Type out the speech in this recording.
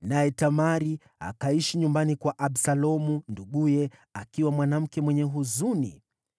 Naye Tamari akaishi nyumbani kwa Absalomu nduguye, akiwa mwanamke mwenye huzuni.